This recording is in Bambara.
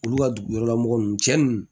Olu ka dugu wɛrɛlamɔgɔ ninnu cɛ nunnu